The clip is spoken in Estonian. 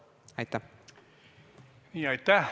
Aitäh!